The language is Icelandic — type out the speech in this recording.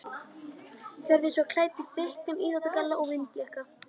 Hjördís var klædd í þykkan íþróttagalla og vindjakka.